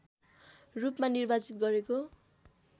रूपमा निर्वाचित गरेको